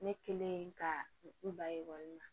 Ne kelen ka n ba ekɔli la